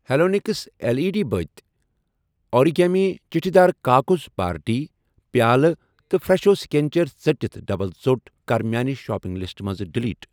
Halonix L E D بٔتۍ ، origami چھِٹہِ دار کاکَذ پارٹی پیٛالہٕ تہٕ فرٛٮ۪شو سِکنیچر ژٔٹِتھ ڈبل ژوٚٹ کَر میانہِ شاپنگ لسٹہٕ منٛز ڈیلیٖٹ۔